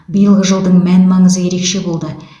биылғы жылдың мән маңызы ерекше болды